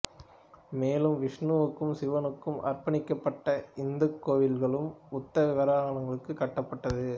மேலும் விஷ்ணுவுக்கும் சிவனுக்கும் அர்ப்பணிக்கப்பட்ட இந்துக் கோவில்களும் புத்த விகாரகங்களும் கட்டப்பட்டது